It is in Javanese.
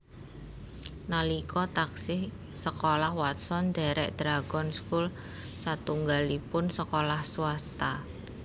Nalika taksih sekolah Watson ndhèrèk Dragon School satunggalipun sekolah swasta